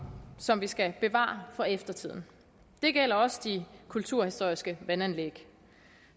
som vi skal bevare for eftertiden det gælder også de kulturhistoriske vandanlæg